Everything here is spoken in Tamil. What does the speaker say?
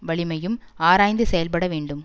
வலிமையும் ஆராய்ந்து செயல்பட வேண்டும்